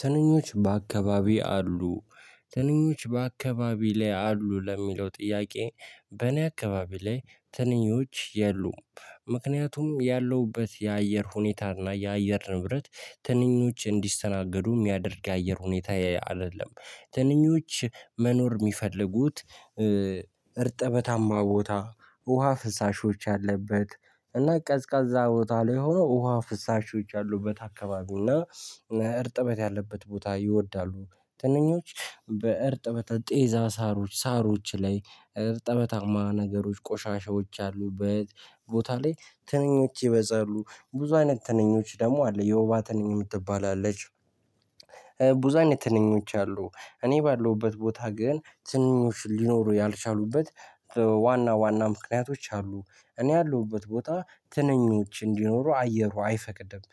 ትንኞች በአካባቢ አሉ ትንኞች በአካባቢ ላይ አሉ ለሚለው ጥያቄ በእኔ አካባቢ ላይ ትንኞች የሉም። ምክንያቱም ያለሁበት የአየር ሁኔታና የአየር ንብረት ትንኞች እንዲሰናገዱ የሚያደርግ የአየር ሁኔታ አይደለም። ትንኞች መኖር የሚፈልጉት። እርጥበታማ ቦታ ውሃ አለበት። እና ቀዝቃዛ ቦታ ላይ ሆኖ ውሃ ፍሳሾች አሉበት አካባቢና እርጥበት ያለበት ቦታ ይወዳሉ። ትንኞች በእርጥበተ ጤዛ ሳሮች ሳሮች ላይ እርጥበታማ ነገሮች ቆሻሻዎች አሉ። ቦታ ላይ ትንኞች ይበዛሉ። ብዙ አይነት ትንኞች ደግሞ አለ የውባ ትንኝ የምትባል አለች። ብዙ አይነት ትንኞች አሉ። እኔ ባለሁበት ቦታ ግን ትንኞች ሊኖሩ ያልቻሉበት ዋና ዋና ምክንያቶች አሉ። እኔ ያለሁበት ቦታ ትንኞች እንዲኖሩ አየሩ አይፈቅድም።